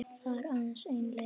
Það er aðeins ein leið